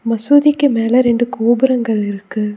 மசூதிக்கு மேல ரெண்டு கோபுரங்கள் இருக்கு.